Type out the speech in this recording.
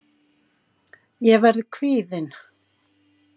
Ég verð kvíðin.